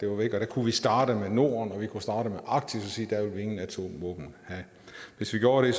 var væk der kunne vi starte med norden og vi kunne starte med arktis og sige at vi ingen atomvåben have hvis vi gjorde det